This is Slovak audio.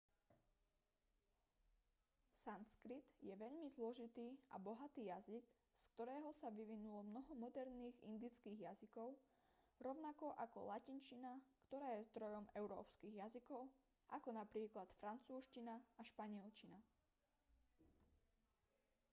sanskrit je veľmi zložitý a bohatý jazyk z ktorého sa vyvinulo mnoho moderných indických jazykov rovnako ako latinčina ktorá je zdrojom európskych jazykov ako napríklad francúzština a španielčina